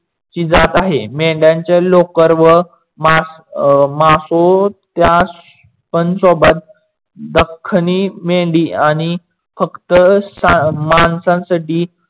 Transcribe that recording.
ची जात आहे. मेंढयानचे लोकर व त्या पन सोबत दख्खणी मेंढी आणि फक्त माणसांसाठी